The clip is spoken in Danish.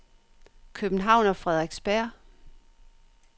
København og Frederiksberg